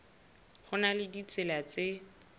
ho na le ditsela tse